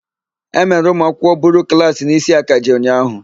E mere ụmụakwụkwọ buru klaasị n'isi akaje ụnyaahụ.